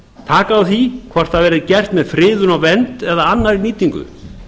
taka á því hvort það verður gert með friðun og vernd eða annarri nýtingu